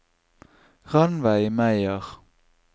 Ranveig Meyer